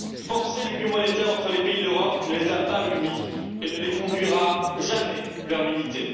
Forcer l'union monétaire entre les pays d'Europe ne les a pas unis et ne les conduira jamais vers l'unité.